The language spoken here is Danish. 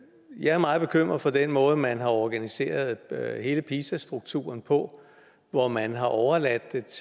jeg er meget bekymret for den måde man har organiseret hele pisa strukturen på hvor man har overladt